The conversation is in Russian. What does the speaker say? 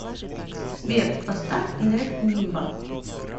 сбер поставь нэт нимба